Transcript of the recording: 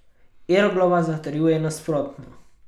Irglova zatrjuje nasprotno.